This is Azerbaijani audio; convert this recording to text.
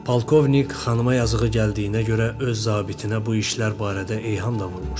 Polkovnik xanıma yazığı gəldiyinə görə öz zabitinə bu işlər barədə eyham da vurmuşdu.